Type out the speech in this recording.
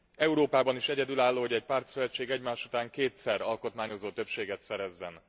Európában is egyedülálló, hogy egy pártszövetség egymás után kétszer alkotmányozó többséget szerezzen.